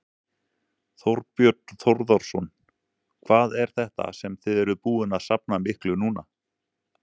Þorbjörn Þórðarson: Hvað er þetta sem þið eruð búin að safna miklu núna?